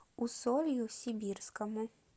усолью сибирскому